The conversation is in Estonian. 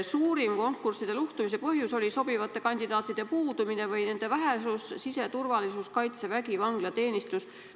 Suurim konkursside luhtumise põhjus on olnud sobivate kandidaatide puudumine või nende vähesus, näiteks siseturvalisuses, Kaitseväes, vanglateenistuses.